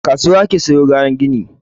A kasuwa ake siyo kayan gini.